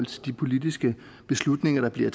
til de politiske beslutninger der bliver